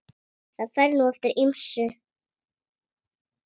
Það fer nú eftir ýmsu.